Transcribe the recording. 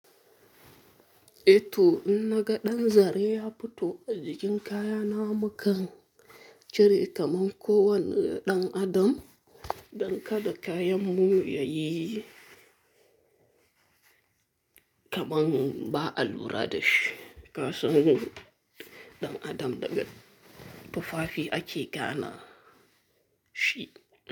Eh to inna ga dan zare ya fito a jikin kayana mukan cire kaman ko wani dan adam dan kada kayanmu yayi kamar ba alura da shi. Kasan ɗan adam daga tufafi a ke gana shi.